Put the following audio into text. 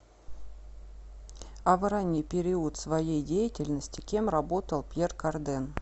а в ранний период своей деятельности кем работал пьер карден